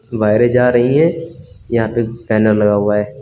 वायरें जा रही हैं यहाँ पे एक बैनर लगा हुआ है।